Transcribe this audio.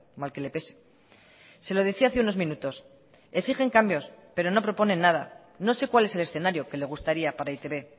mal que le pese se lo decía hace unos minutos exigen cambios pero no proponen nada no sé cuál es el escenario que le gustaría para e i te be